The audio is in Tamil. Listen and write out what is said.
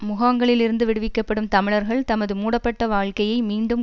முகாங்களில் இருந்து விடுவிக்கப்படும் தமிழர்கள் தமது மூடப்பட்ட வாழ்க்கையை மீண்டும்